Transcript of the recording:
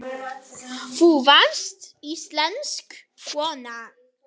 Þú varst íslensk kona.